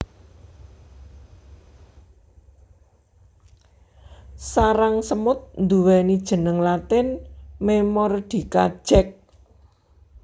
Sarang semut nduweni jeneng latin Memordica Jack